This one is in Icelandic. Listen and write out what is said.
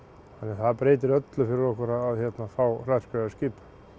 það breytir öllu fyrir okkur að fá hraðskreiðara skip